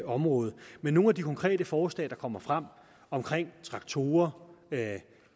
område men nogle af de konkret forslag der kommer frem om traktorer